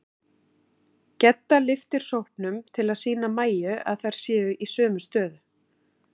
Gedda lyftir sópnum til að sýna Mæju að þær séu í sömu stöðu.